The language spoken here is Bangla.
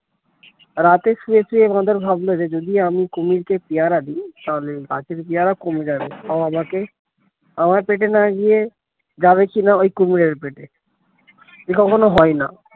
রাতে শুয়ে শুয়ে বাঁদর ভাবলো যে যদি আমি কুমির কে পেয়ারা দিই ফলে গাছের পেয়ারা কমে যাবে আমাকে আমার পেটে না গিয়ে যাবে কিনা ওই কুমিরের পেটে এ কখনো হয় না